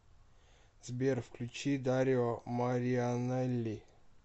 сбер включи дарио марианелли